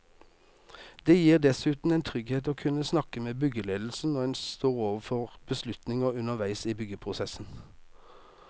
Det gir dessuten en trygghet å kunne snakke med byggeledelsen når en står overfor beslutninger underveis i byggeprosessen.